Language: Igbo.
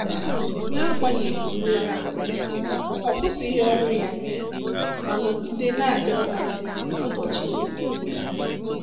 N'agbanyeghị mmerụ ahụ, ọ kwụsịghị ọrụ ya ma nọgide na adị mma n'ụbọchị dum.